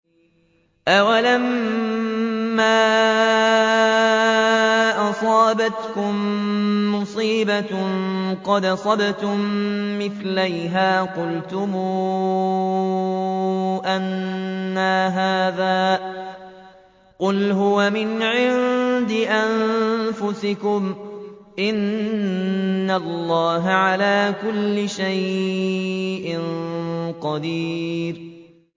أَوَلَمَّا أَصَابَتْكُم مُّصِيبَةٌ قَدْ أَصَبْتُم مِّثْلَيْهَا قُلْتُمْ أَنَّىٰ هَٰذَا ۖ قُلْ هُوَ مِنْ عِندِ أَنفُسِكُمْ ۗ إِنَّ اللَّهَ عَلَىٰ كُلِّ شَيْءٍ قَدِيرٌ